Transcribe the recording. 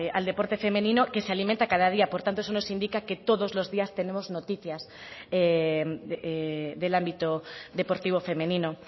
al deporte femenino que se alimenta cada día por tanto eso nos indica que todos los días tenemos noticias del ámbito deportivo femenino